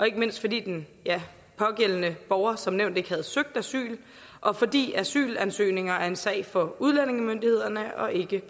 ikke mindst fordi den pågældende borger som nævnt ikke havde søgt asyl og fordi asylansøgninger er en sag for udlændingemyndighederne og ikke